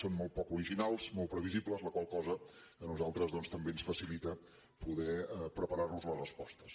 són molt poc originals molt previsibles la qual cosa a nosaltres doncs també ens facilita poder preparar nos les respostes